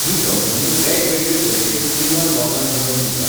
ही company वेगवेगळे तरेचे trimmer लोकांक मेळोवन दिता.